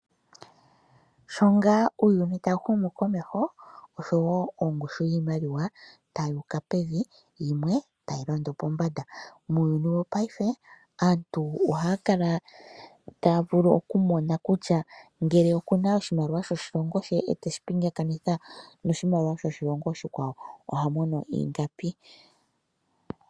Sho ngaa uuyuni ta wu humu komeho, osho wo ongushu yiimaliwa tayi uka pevi yimwe tayi londo pombanda. Muuyuni wopaife aantu ohaya kala taya vulu okumona kutya ngele okuna oshimaliwa shoshilongo she e te shi pingakanitha noshimaliwa shoshilongo oshikwawo oha mono ingapi.